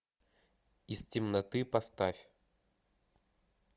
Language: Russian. из темноты поставь